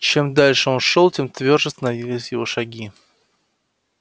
чем дальше он шёл тем твёрже становились его шаги